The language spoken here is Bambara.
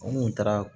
An kun taara